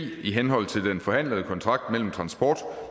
i henhold til den forhandlede kontrakt mellem transport